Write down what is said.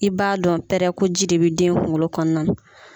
I b'a dɔn pɛrɛ ko ji de bi den kunkolo kɔnɔna na